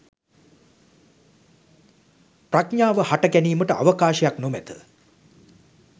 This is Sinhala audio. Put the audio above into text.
ප්‍රඥාව හට ගැනීමට අවකාශයක් නොමැත.